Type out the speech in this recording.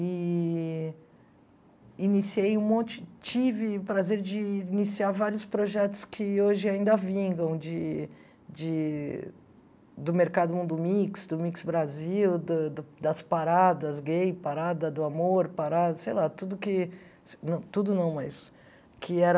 Eee... Iniciei um monte... Tive o prazer de iniciar vários projetos que hoje ainda vingam de de... Do Mercado Mundo Mix, do Mix Brasil, do da das paradas gay, parada do amor, parada... Sei lá, tudo que... Tudo não, mas... Que era...